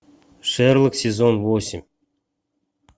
шерлок сезон восемь